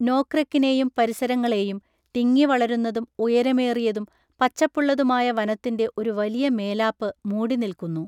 നോക്രെക്കിനെയും പരിസരങ്ങളേയും, തിങ്ങിവളരുന്നതും ഉയരമേറിയതും പച്ചപ്പുള്ളതുമായ വനത്തിൻ്റെ ഒരു വലിയ മേലാപ്പ് മൂടിനിൽക്കുന്നു.